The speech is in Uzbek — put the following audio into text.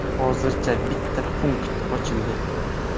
Hozircha bitta punkt ochildi.